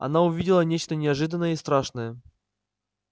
она увидела нечто неожиданное и страшное